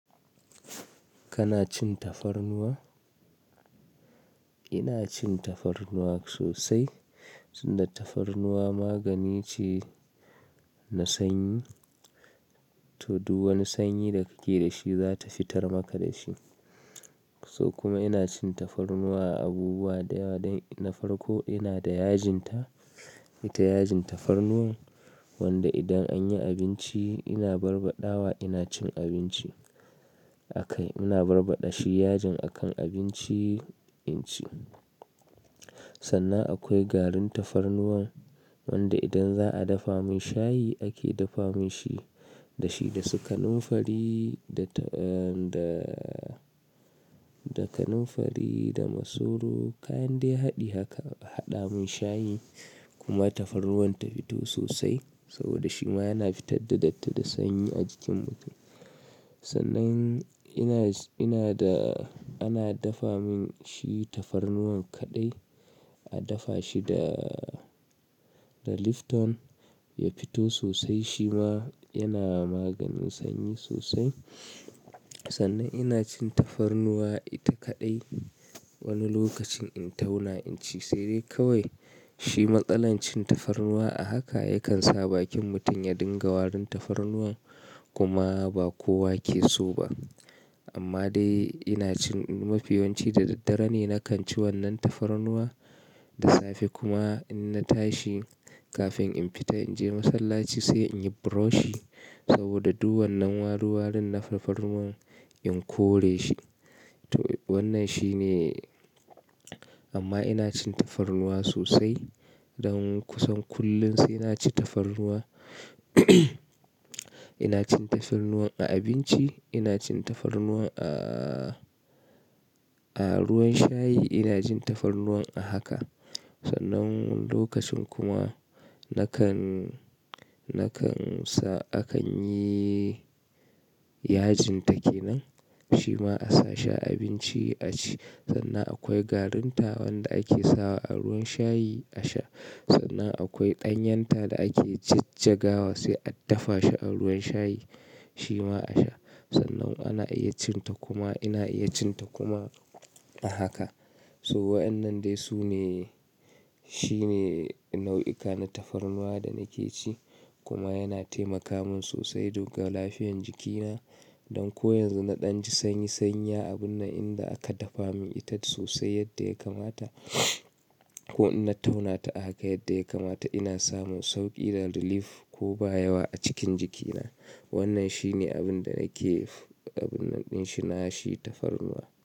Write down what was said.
Kana cin tafarnuwa? Ina cin tafarnuwa sosai. Suna tafarnuwa magani ce na sanyi. To, duk wani sanyi da kake da shi za ta fitar maka da shi. So kuma ina cin tafarnuwa a abubuwa da yawa don na farko ina da yajinta, ita yajin tafarnuwa wanda idan an yi abinci ina barbaɗawa ina cin abinci a kai. Ina barbaɗa shi yajin a kan abinci inci. Sannan akwai garin tafarnuwa wanda idan za a dafa min shayi ake dafa min shi da shi da sukanun fari da ta-- eh da, da kanunfari da masoro kayan dai haɗi haka haɗa mun shayi kuma tafarnuwan ta fito sosai saboda shi ma yana fitar da datti da sanyi a jikin mutum. Sannan ina, ina da ana dafa min shi tafarnuwan kaɗai, a dafa shi da, da Lifton ya fito sosai. Shi ma yana maganin sanyi sosai. Sannan ina cin tafarnuwa ita kaɗai wani lokacin in tauna inci, sai dai kawai shi matsalar cin tafarnuwa a haka yakan sa bakin mutum ya dinga warin tafarnuwa kuma ba kowa ke so ba. Amma dai ina cin-- mafiyanci da daddare ne na kan ci wannan tafarnuwa da safe kuma in na tashi kafin in fita in je masallaci sai in yi buroshi saboda duk wannan waruwarun na tafarnuwan in kore shi. To wannan shi ne amma ina cin tafarnuwa sosai don kusan kullum sai na ci tafarnuwa. Ina cin tafarnuwa a abinci, ina cin tafarnuwa a, a ruwan shayi, ina jin tafarnuwa a haka. Sannan lokacin kuma na kan, na kansa akan yi yajinta ke nan shi ma a sa shi a abinci a ci. Sannan akwai garinta wanda ake sawa a ruwan shayi a sha. Sannan akwai ɗanyanta da ake jijjagawa sai a dafa shi a ruwan shayi shi ma a sha. Sannan ana iya cin ta kuma ina iya cin ta kuma a haka. So waɗannan dai su ne, shi ne nau'ika na tafarnuwa da nake ci. Kuma yana taimaka min sosai duk ga lafiyan jikina. Don ko yanzu na ɗan ji sanyi sanyi a abun nan in da aka dafa min ita sosai yadda ya kamata. Ko in na tauna ta a haka yadda ya kamata ina samun sauƙi da relief ko ba yawa a cikin jikina. Wannan shi ne abin da nake, abunnan ɗin shi na shi tafarnuwa.